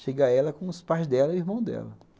Chega ela com os pais dela e o irmão dela.